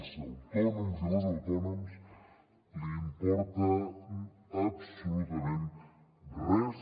els autònoms i les autònomes li importen absolutament gens